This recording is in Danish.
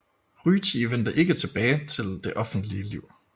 Ryti vendte ikke tilbage til det offentlige liv